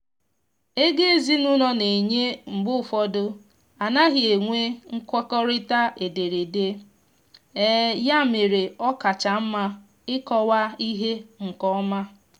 ego ezinụlọ na enye mgbe ụfọdụ anaghị enwe nkwekọrịta ederede ya mere ọ kacha mma ịkọwa ihe nkeọma